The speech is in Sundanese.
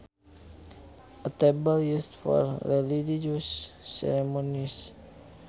A table used for religious ceremonies